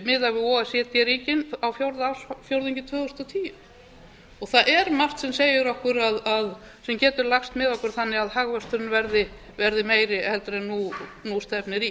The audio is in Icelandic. við o e c d ríkin á fjórða ársfjórðungi tvö þúsund og tíu og það er margt sem segir okkur sem getur lagst með okkur þannig að hagvöxturinn verði meiri en nú stefnir í